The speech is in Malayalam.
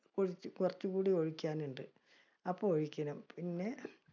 കുറച്ചും കൂടി ഒഴിക്കാൻ ഉണ്ട്. അപ്പോ ഒഴിക്കണം പിന്നെ